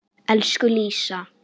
Elsku Lísa.